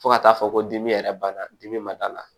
Fo ka taa fɔ ko dimi yɛrɛ banna dimi ma d'a la